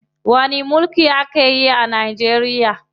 Wani mulki ake yi a Najeriya?